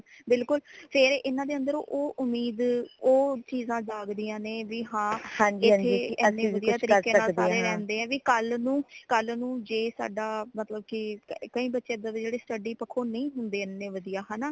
ਬਿਲਕੁਲ ਫਿਰ ਇਨਾ ਦੇ ਅੰਦਰ ਓ ਉਮੀਦ ਓ ਚੀਜ਼ਾਂ ਜਾਗਦਿਆਂ ਨੇ ਵੀ ਹਾਂਏਥੇ ਏਨੇ ਵਧੀਆ ਤਰੀਕੇ ਨਾਲ ਸਾਰੇ ਰਹਿੰਦੇ ਹੈ ਕਿ ਕਲ ਨੂ ਕਲ ਨੂ ਜੇ ਸਾਡਾ ਮਤਲਬ ਕਿ ਕਈ ਬੱਚੇ ਏਦਾਂ ਦੇ ਜੇੜੇ study ਪੱਖੋਂ ਨਈ ਹੁੰਦੇ ਏਨੇ ਵਧੀਆ ਹੈ ਨਾ